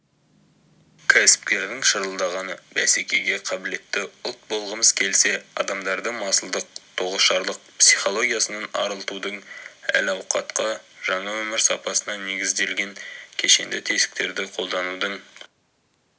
кәсіпкердің шырылдағаны бәсекеге қабілетті ұлт болғымыз келсе адамдарды масылдық тоғышарлық психологиясынан арылтудың әл-ауқатқа жаңа өмір сапасына негізделген кешенді тетіктерді қолданудың